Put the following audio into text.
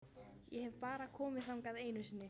Ég hef bara komið þangað einu sinni.